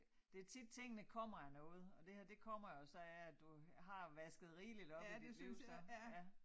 Det tit tingene kommer af noget og det her det kommer jo så af at du har vasket rigeligt op i dit liv så ja